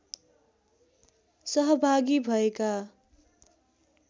सहभागी भएका